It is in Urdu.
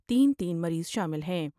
تین تین مریض شامل ہیں ۔